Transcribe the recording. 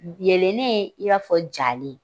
Yelennen i b'a fɔ jalen